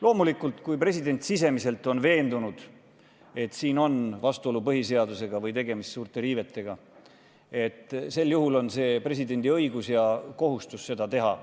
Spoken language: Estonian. Loomulikult, kui president on sisemiselt veendunud, et on olemas vastuolu põhiseadusega või tegemist on suurte riivetega, sel juhul on presidendil õigus ja kohustus seda teha.